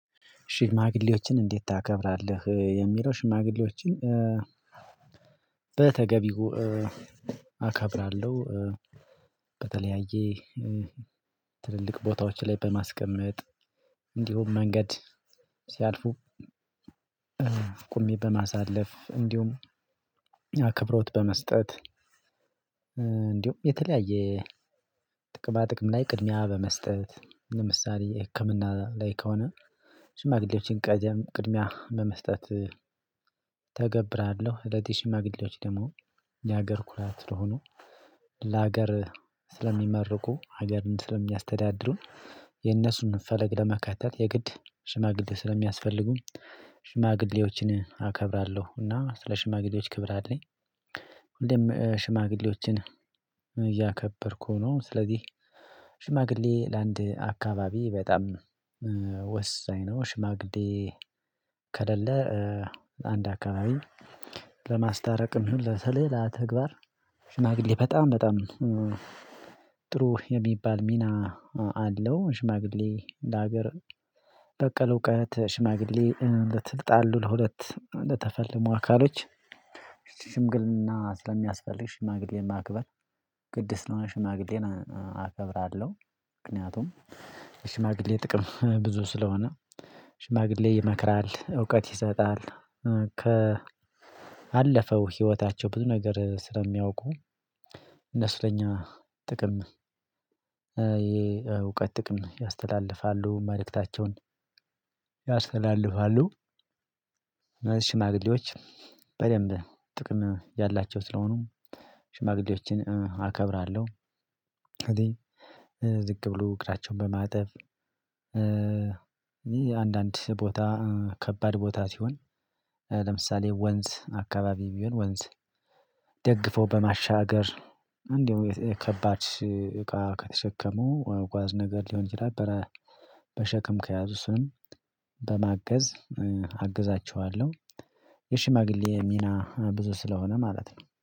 ሽማግሌዎችን እንዴት ታከብራለህ? የሚለው ሽማግሌዎችን በተገቢው አከብራለሁ በተለያየ ትልልቅ ቦታዎች ላይ በማስቀመጥ እንዲሁም መንገድ ሲያልፉ ቁሜ በማሳለፍ እንዲሁም አክብሮት በመስጠት እንዲሁም የተለያየ በጥቅም ላይ ቅድሚያ በመስጠት ለምሳሌ ህክምና ላይ ከሆነ ሽማግሌዎችን ቀደም ቅድሚያ በመስጠት ተገብራለሁ እነዚህ ሽማግሌዎች ደግሞ የሀገር ኩራት ስለሆኑ ለሀገር ስለሚመርቁ ሀገርን ስለሚያስተዳድሩን የነሱን ፈለግ ለመካተት የግድ ሽማግሌ ስለሚያስፈልጉ ሽማግሌዎችን አከብራለሁ እና ስለ ሽማግሌዎች ክብር አለኝ። ሽማግሌዎችን እያከበርኩ ነው ስለዚህ ሽማግሌ ለአንድ አካባቢ በጣም ወሳኝ ነው ሽማግዴ ከሌለ አንድ አካባቢ ለማስታረቅም ለተለላ ተግባር ሽማግሌ በጣም በጣም ጥሩ የሚባል ሚና አለው ሽማግሌ ለሀገር በቀል እውቀት ሽማግሌ ለተጣሉት ለሁለት ለተፋለሙ አካሎች ሽምግልና ስለሚያስፈልግ ሽማግሌን ማክበር ቅድስና ሽማግሌን አከብራለሁ ምክንያቱም የሽማግሌ ጥቅም ብዙ ስለሆነ ሽማግሌ ይመክራል፣ እውቀት ይሰጣል፣ ከአለፈው ህይወታቸው ብዙ ነገር ስለሚያውቁ እነሱ ለኛ ጥቅም የእውቀት ጥቅም ያስተላልፋሉ፣ መልእክታቸውን ያስተላልፋሉ ሽማግሌዎች በደንብ ጥቅም ያላቸው ስለሆኑም ሽማግሌዎችን አከብራለሁ። ዝቅ ብሎ እግራቸዉን በማጠብ እ አንዳንድ ቦታ ከባድ ቦታ ሲሆን ለምሳሌ ወንዝ አካባቢ ቢሆን ወንዝ ደግፎ በማሻገር እንደው ከባድ እቃ ከተሸከሙ ጓዝ ነገር ሊሆን ይችላል በሸክም ከያዙ እሱን በማገዝ አግዛቸዋለሁ። የሽማግሌ ሚና ብዙ ስለሆነ ማለት ነው።